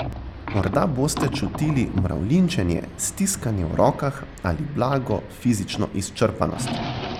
Morda boste čutili mravljinčenje, stiskanje v rokah ali blago fizično izčrpanost.